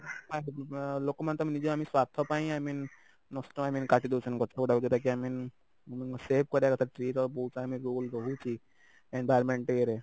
ଆ ଲୋକମାନେ ତ ଆମେ ନିଜେ ସ୍ଵାର୍ଥ ପାଇଁ i mean ନଷ୍ଟ i mean କାଟିଦଉଛନ୍ତି ଗଛଗୁଡାକୁ ଯଉଟାକି i mean ଅ save କରିବା କଥା tree ର ବହୁତ i mean role ରହୁଛି environment ଇଏରେ